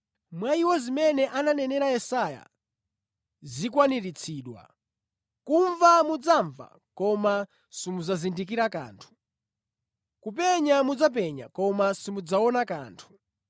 Mwa iwo zimene ananenera Yesaya zikwaniritsidwa: “ ‘Kumva mudzamva koma osamvetsetsa. Kupenya mudzapenya koma osaona kanthu.